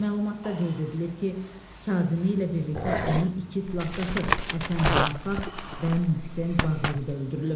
Məlumatda qeyd edilib ki, Kazımi ilə birlikdə onun iki silahdaşı, Həsən Muhaqqaq və Möhsen Baqiri də öldürülüb.